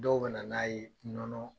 Dɔw bɛ na n'a ye nɔnɔ